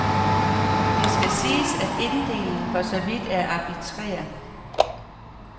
Det skal siges, at inddelingen for så vidt er arbitrær.